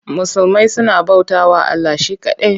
Musulmai suna bautawa Allah she kaɗai.